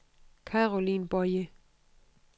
Caroline Boye